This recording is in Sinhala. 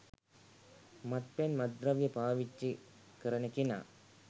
මත්පැන් මත්ද්‍රව්‍ය පාවිච්චි කරන කෙනා